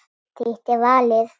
Þitt er valið.